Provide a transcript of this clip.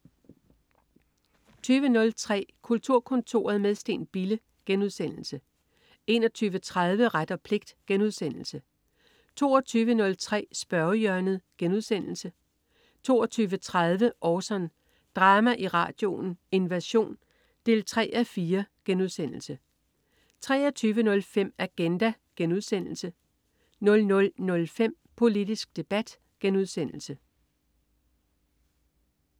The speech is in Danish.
20.03 Kulturkontoret med Steen Bille* 21.30 Ret og pligt* 22.03 Spørgehjørnet* 22.30 Orson. Drama i radioen: Invasion 3:4* 23.05 Agenda* 00.05 Politisk debat*